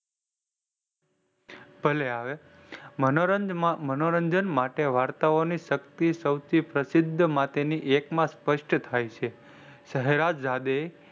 ભલે આવે મનોરંજન માટે વાર્તાઓની શક્તિ સૌથી પ્રસિદ્ધ માટેની એકમાં સ્પષ્ટ થાયછે. સહેરજદે,